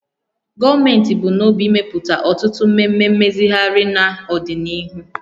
Gọọmenti bu n'obi imepụta ọtụtụ mmemme mmezigharị n'ọdịnihu